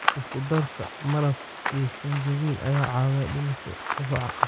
Isku darka malab iyo sinjibiil ayaa caawiya dhimista qufaca.